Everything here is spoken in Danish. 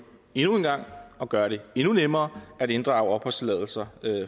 endnu en gang og gøre det endnu nemmere for at inddrage opholdstilladelser